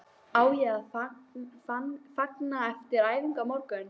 Á ég að fagna eftir æfingu á morgun?